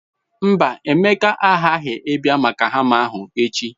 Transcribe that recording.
Mba, Emeka aghaghi abia maka hama ahu echi.